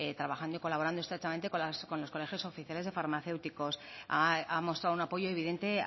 trabajando y colaborando estrechamente con los colegios oficiales de farmacéuticos ha mostrado un apoyo evidente